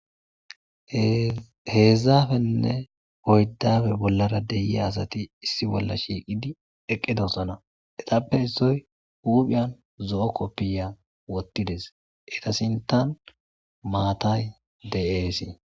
Heezaafenne oyddabe bollara deyiya asati issi bolla shiiqidi eqqedosana etappe iszoy huuphiyan zo7o koppiya wottides eta sintan maatay de7ees.